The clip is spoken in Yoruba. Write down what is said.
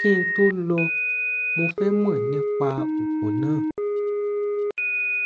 kí n tó lò ó mo fẹ mọ nípa òògùn náà